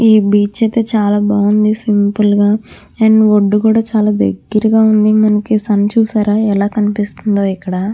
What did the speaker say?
ఈ బీచ్ అయితే చాలా బాగుంది. సింపుల్ గా అండ్ ఒడ్డు కూడా చాలా దగ్గరగా ఉంది. మనకి సన్ చూశారా ఎలా కనిపిస్తుందో ఇక్కడ.